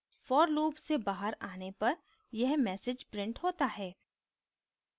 for loop से बाहर on पर यह message printed होता है